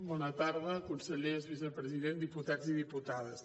bona tarda consellers vicepresident diputats i diputades